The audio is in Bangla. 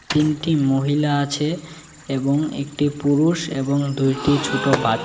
তিনটি মহিলা আছে এবং একটি পুরুষ এবং দুইটি ছোট বা--